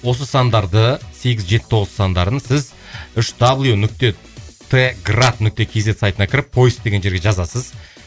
осы сандарды сегіз жеті тоғыз сандарын сіз үш дабл ю нүкте т град нүкте кз сайтына кіріп поиск деген жерге жазасыз